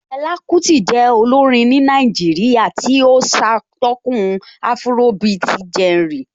Fela Kuti jẹ́ olórin ní Nàìjíríà tí ó ṣatọ́kùn afrobeat genre